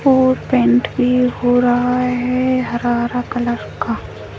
और पेंट भी हो रहा है हरा-हरा कलर का।